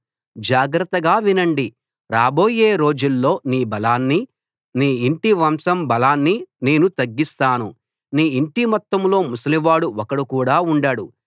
జాగ్రత్తగా వినండి రాబోయే రోజుల్లో నీ బలాన్ని నీ ఇంటి వంశం బలాన్ని నేను తగ్గిస్తాను నీ ఇంటి మొత్తంలో ముసలివాడు ఒకడు కూడా ఉండడు